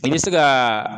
I bɛ se ka